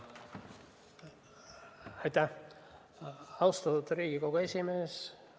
Aitäh, austatud Riigikogu esimees!